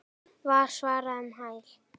var svarað um hæl.